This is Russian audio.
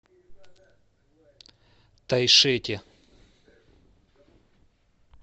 тайшете